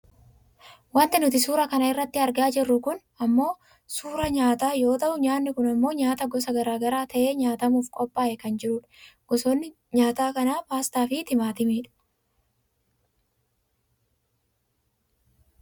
Wanti nuti suuraa kana irratti argaa jirru kun ammoo suuraa nyaataa yoo ta'u nyaanni kun ammoo nyaata gosa gara garaa ta'ee nyaatamuuf qophaa'e kan jirudha. Gosoonni nyaata kanaa paastaafi timaatimiidha.